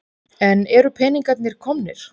En eru peningarnir komnir?